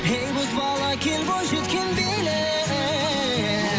ей боз бала кел бойжеткен биле